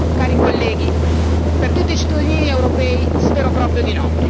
Cari colleghi, per tutti i cittadini europei spero proprio di